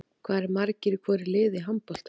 Hvað eru margir í hvoru liði í handbolta?